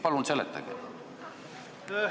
Palun seletage!